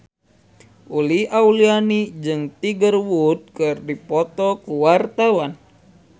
Uli Auliani jeung Tiger Wood keur dipoto ku wartawan